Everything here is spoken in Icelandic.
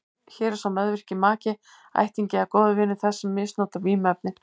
Hér er sá meðvirki maki, ættingi eða góður vinur þess sem misnotar vímuefnin.